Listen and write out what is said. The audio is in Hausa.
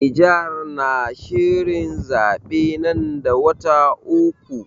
Niger na shirin zaɓe nan da wata uku.